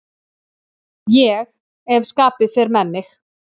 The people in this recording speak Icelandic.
Ég ef skapið fer með mig.